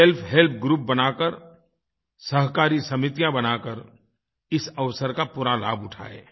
self help group बनाकर सहकारी समितियां बनाकर इस अवसर का पूरा लाभ उठाएं